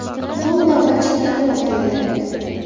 So‘ng navbatchi prokuror keldi.